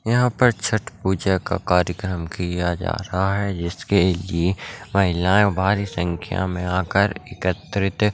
यहां पर छठ पूजा का कार्येक्रम किया जा रहा है जिसके लिए महिलाये भारी संख्या में आकर एकत्रित--